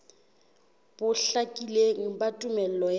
bo hlakileng ba tumello ya